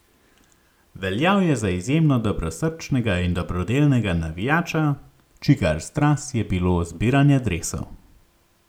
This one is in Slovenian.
Veljal je za izjemno dobrosrčnega in dobrodelnega navijača, čigar strast je bilo zbiranje dresov.